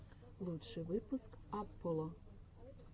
лучший выпуск апполо